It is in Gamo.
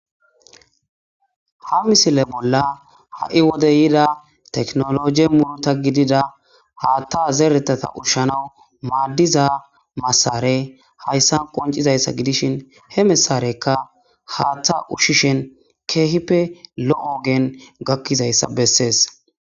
Ha misile bollan ha'i wode ehiido teknoloje muruta gidida haatha zerethatha ushane maadiza mashinne haysan qonccisa haysa gidishshin, he mashinneka haatha ushishshin keeppe lo ogen gakkida iza besses.